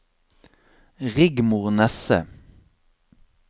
Rigmor Nesse